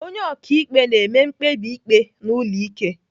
Onye ọkaikpe na-eme mkpebi ikpe n'ụlọ ike.